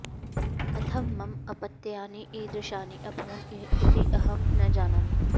कथं मम अपत्यानि इदृशानि अभवन् इति अहं न जानामि